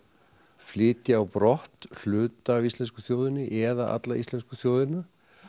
flytja á brott hluta af íslensku þjóðinni eða alla íslensku þjóðina